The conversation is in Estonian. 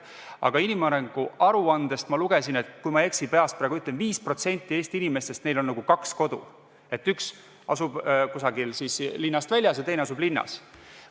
Aga inimarengu aruandest ma lugesin – kui ma ei eksi, peast praegu ütlen –, et 5%-l Eesti inimestest on nagu kaks kodu: üks asub kusagil linnast väljas ja teine asub linnas.